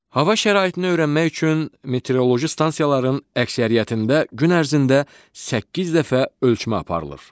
Hava şəraitini öyrənmək üçün meteoroloji stansiyaların əksəriyyətində gün ərzində səkkiz dəfə ölçmə aparılır.